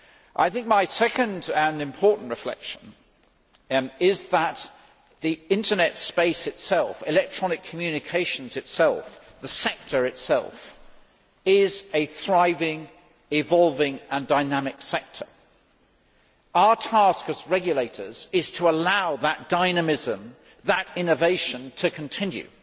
I think my second and important reflection is that the Internet space itself electronic communications, the sector itself is a thriving, evolving and dynamic sector. Our task as regulators is to allow that dynamism, that innovation, to continue.